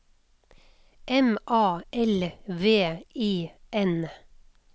M A L V I N